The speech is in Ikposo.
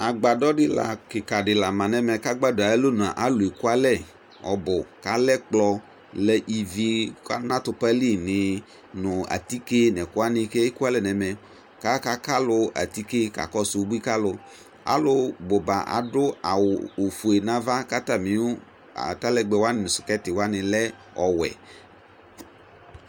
Agbadɔ dɩ la kɩka dɩ la ma nʋ ɛmɛ kʋ agbadɔ yɛ ayʋ alɔnu a, alʋ ekualɛ ɔbʋ kʋ alɛ ɛkplɔ, lɛ ivi ka nʋ atʋpa li nɩɩ nʋ atike nʋ ɛkʋ wanɩ kʋ ekualɛ nʋ ɛmɛ kʋ akaka alʋ atike kakɔsʋ ubui ka alʋ Alʋbʋ ba adʋ awʋ ofue nʋ ava kʋ atamɩ ʋ atalɛgbɛ wanɩ nʋ skɛtɩ wanɩ lɛ ɔwɛ